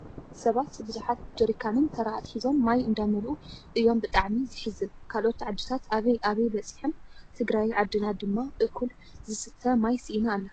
ብዙሓት ሰባት ብዩሓት ጀሪካንን ተራ ኣትሒዞም ማይ እንዳመልዙ እዮም ብጣዕሚ ዘሕዝን! ካልኦት ዓዲታት ኣበይ ኣበይ በፂሐን ትግራይ ዓድና ድማ እኩል ዝሰተ ማይ ሲኢና ኣላ።